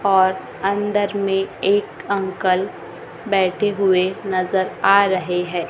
और अंदर में एक अंकल बैठे हुए नजर आ रहे है।